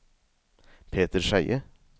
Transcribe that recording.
Peter Skeie